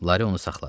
Lari onu saxladı.